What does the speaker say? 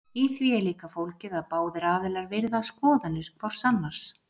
í því er líka fólgið að báðir aðilar virða skoðanir hvors annars